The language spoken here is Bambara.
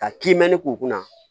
Ka kiimɛni k'u kunna